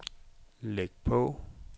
læg på